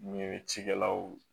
Ɲe cikɛlaw